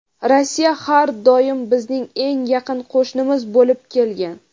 Rossiya har doim bizning eng yaqin qo‘shnimiz bo‘lib kelgan.